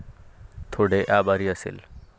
थोडे आभारी असेल.